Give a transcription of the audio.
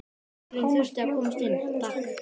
Lögreglan þurfti að komast inn, takk!